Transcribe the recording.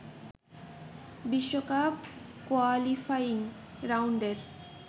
বিশ্বকাপ কোয়ালিফাইং রাউন্ডের